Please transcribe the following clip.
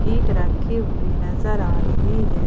ईट रखी हुई नजर आ रही है।